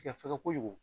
Fɛŋɛ kojugu